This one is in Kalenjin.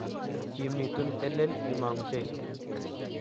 Kimitun, telel imangu Jesu